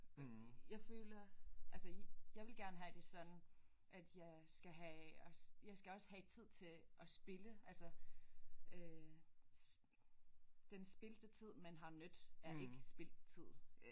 Jeg føler altså jeg ville gerne have det sådan at jeg skal have også jeg skal også have tid til at spilde altså øh den spildte tid man har nydt er ikke spildt tid